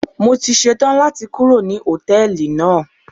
Mo ti ṣe tán láti kúrò ní Hòtẹ́lìì náà.